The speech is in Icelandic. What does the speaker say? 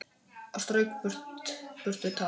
Og strauk burtu tár.